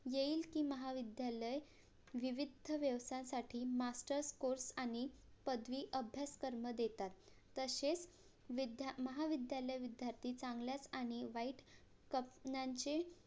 येईल कि महाविद्यालय विविध्य व्यवसायासाठी MASTERS COURSE आणि पदवीअभ्यासक्रम देतात तसेच विद्या महाविद्यालय विद्यार्थी चांगल्याच आणि वाईट COMPANY चे